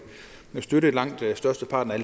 støtte langt størsteparten af